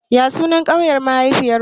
Ya sunan ƙauyen mahaifiyar ki?